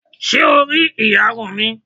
Ṣé o rí ìyarun mi?